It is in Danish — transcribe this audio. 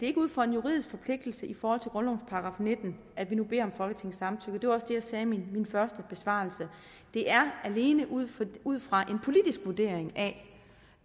er ud fra en juridisk forpligtelse i forhold til grundlovens § nitten at vi nu beder om folketingets samtykke det var også det jeg sagde i min første besvarelse det er alene ud ud fra en politisk vurdering at